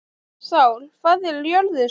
Sál, hvað er jörðin stór?